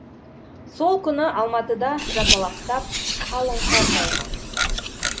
сол күні алматыда жапалақтап қалың қар жауған